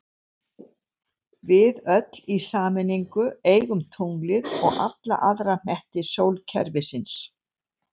Við öll í sameiningu eigum tunglið og alla aðra hnetti sólkerfisins!